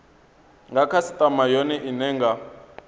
nga khasitama yone ine nga